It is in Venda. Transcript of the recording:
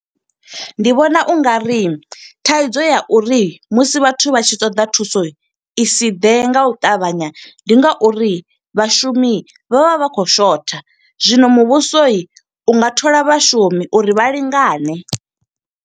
Ndi vhona u nga ri thaidzo ya uri musi vhathu vha tshi ṱoḓa thuso, i si ḓe nga u ṱavhanya. Ndi nga uri vhashumi vha vha vha khou shotha, zwino muvhuso u nga thola vhashumi uri vha lingane.